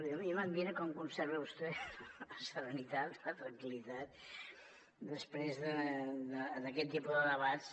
a mi m’admira com conserva vostè la serenitat la tranquil·litat després d’aquest tipus de debats